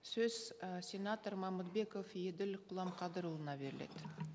сөз і сенатор мамытбеков еділ құламқадырұлына беріледі